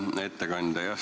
Hea ettekandja!